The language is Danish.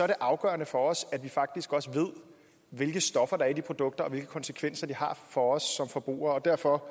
det afgørende for os at vi faktisk også ved hvilke stoffer der er i de produkter og hvilke konsekvenser det har for os som forbrugere og derfor